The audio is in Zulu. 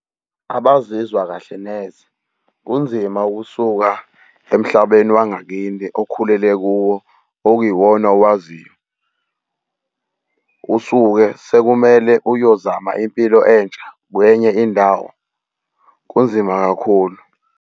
Abazizwa kahle neze. Kunzima ukusuka emhlabeni wangakithi okhulele kuwo. Okuyiwona owaziyo usuke sekumele uyozama impilo entsha kwenye indawo. Kunzima kakhulu.